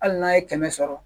Hali n'a ye kɛmɛ sɔrɔ